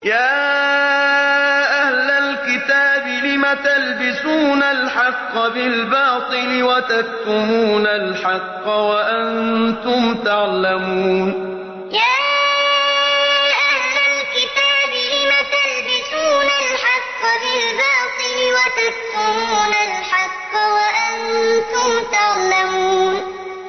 يَا أَهْلَ الْكِتَابِ لِمَ تَلْبِسُونَ الْحَقَّ بِالْبَاطِلِ وَتَكْتُمُونَ الْحَقَّ وَأَنتُمْ تَعْلَمُونَ يَا أَهْلَ الْكِتَابِ لِمَ تَلْبِسُونَ الْحَقَّ بِالْبَاطِلِ وَتَكْتُمُونَ الْحَقَّ وَأَنتُمْ تَعْلَمُونَ